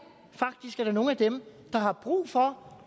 er nogle af dem der har brug for